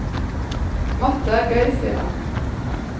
Matte er gøy, sier han.